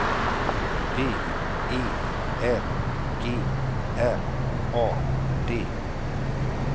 B E L G R A D